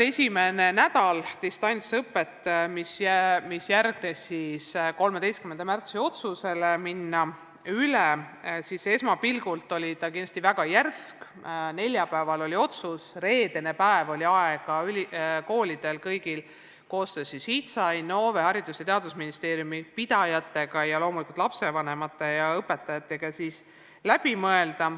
Esimene nädal distantsõpet, mis järgnes 13. märtsi otsusele, oli esmapilgul kindlasti väga järsk muutus – neljapäeval tehti otsus ja reedel tuli kõigil koolidel koostöös HITSA, Innove, Haridus- ja Teadusministeeriumi, koolipidajate ning loomulikult lapsevanemate ja õpetajatega olukord läbi mõelda.